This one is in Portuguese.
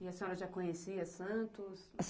E a senhora já conhecia Santos?